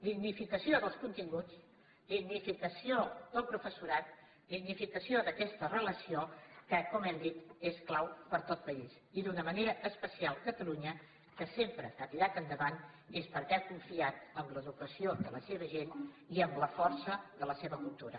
dignificació dels continguts dignificació del professorat dignificació d’aquesta relació que com hem dit és clau per a tot país i d’una manera especial catalunya que sempre que ha tirat endavant és perquè ha confiat en l’educació de la seva gent i amb la força de la seva cultura